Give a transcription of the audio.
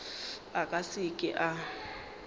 a ka se ke a